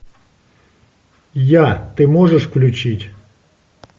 я ты можешь включить